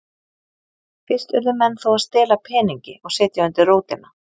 Fyrst urðu menn þó að stela peningi og setja undir rótina.